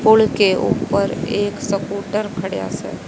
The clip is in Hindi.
पुल ऊपर एक सकूटर खढ़िया से --